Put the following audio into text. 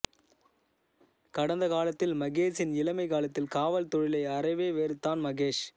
கடந்த காலத்தில் மகேஷின் இளமை காலத்தில் காவல் தொழிலை அறவே வெறுத்தான் மகேஷ்